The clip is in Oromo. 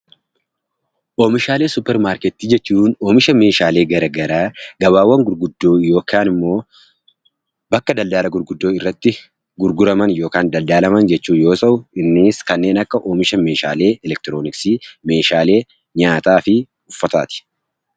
Oomishaalee suupparmaarkeetii jechuun oomisha garaagaraa gabaawwan gurguddoo yookaan immoo bakka daldala gurguddoo irratti gurguraman yookiin daldalaman yoo ta'u innis kanneen akka oomisha midhaanii meeshaalee elektroniksii meeshaalee nyaataa fi meeshaalee uffataati